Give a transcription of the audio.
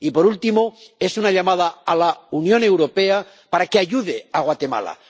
Y, por último, es una llamada a la Unión Europea para que ayude a Guatemala.